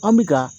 An bɛ ka